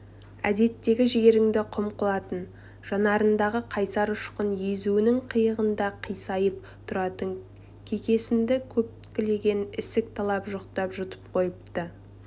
әдеттегі жігеріңді құм қылатын жанарындағы қайсар ұшқын езуінің қиығында қисайып тұратын кекесінді көлкілдеген ісік жалап-жұқтап жұтып қойыпты